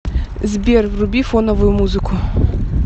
сбер вруби фоновую музыку